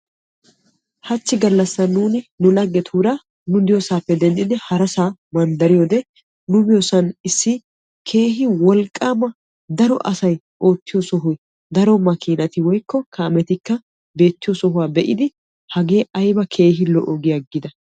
Hachi galassan nuuni lagettura manddariyoode nu biyosan issi wolqqama daro asay oottiyo sohoy daro kametti oottiyo sohuwa be'iddi hagee aybba lo'i giidda.